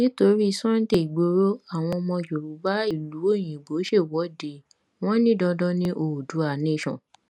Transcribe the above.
nítorí sunday igboro àwọn ọmọ yorùbá ìlú òyìnbó ṣèwọde wọn ní dandan ní oodua nation